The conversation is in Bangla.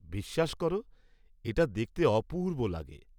বিশ্বাস কর এটা দেখতে অপূর্ব লাগে।